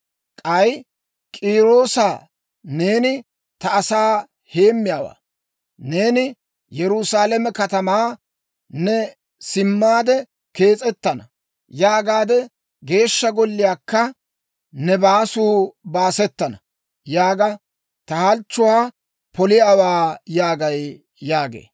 K'ay K'iiroosa, ‹Neeni ta asaa heemmiyaawaa; neeni Yerusaalame katamaa, «Ne simmaade kees'ettana» yaagaade, Geeshsha Golliyaakka, «Ne baasuu baasettana» yaagaade ta halchchuwaa poliyaawaa› yaagay» yaagee.